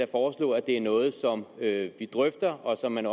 foreslå at det er noget som vi drøfter og som man